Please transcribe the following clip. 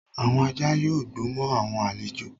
Awọn ajá yóò gbó mo awọn alẹ́jo